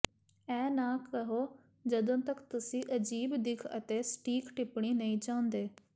ਇਹ ਨਾ ਕਹੋ ਜਦੋਂ ਤਕ ਤੁਸੀਂ ਅਜੀਬ ਦਿੱਖ ਅਤੇ ਸਟੀਕ ਟਿੱਪਣੀ ਨਹੀਂ ਚਾਹੁੰਦੇ